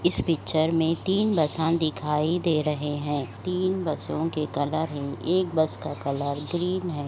इस पिक्चर में तीन बसन दिखाई दे रहे हैं तीन बसों के कलर है। एक बस का कलर ]> ग्रीन है |